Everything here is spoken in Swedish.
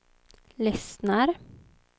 lyssnar